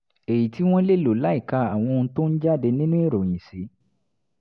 èyí tí wọ́n lè lò láìka àwọn ohun tó ń jáde nínú ìròyìn sí